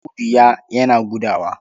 Audu ya yana gudawa.